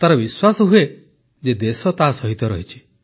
ତାର ବିଶ୍ୱାସ ହୁଏ ଯେ ଦେଶ ତା ସହିତ ଅଛି